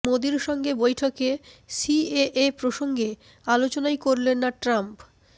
মোদীর সঙ্গে বৈঠকে সিএএ প্রসঙ্গে আলোচনাই করলেন না ট্রাম্প